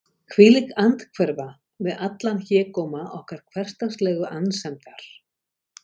hvílík andhverfa við allan hégóma okkar hversdagslegu annsemdar!